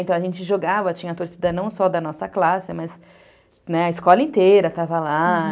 Então, a gente jogava, tinha torcida não só da nossa classe, né, mas a escola inteira estava lá.